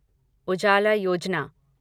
उजाला योजना